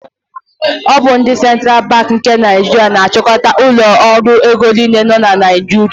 Ọ bụ ndị Central Banki nke Naijiria na-achịkọta ụlọ ọrụ ego niile nọ na Naijiria.